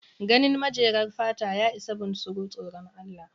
Ganin majemar fata ya ishe bunsuru tsoran Allah.